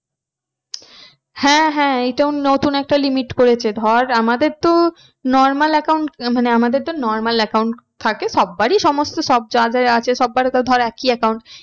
হ্যাঁ হ্যাঁ এটা নতুন একটা limit করেছে ধর আমাদের তো normal account মানে আমাদের তো normal account থাকে। সবারই সমস্ত সব যার যার আছে সবার তো ধর একই account